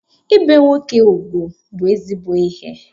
Ibe nwoke ugwu bụ ezigbo ihe